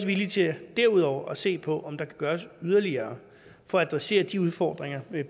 villige til derudover at se på om der kan gøres yderligere for at adressere de udfordringer vi